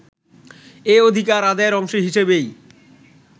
এ অধিকার আদায়ের অংশ হিসেবেই